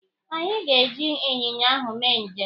Anyị ga- eji ịnyịnya ahụ mee njem.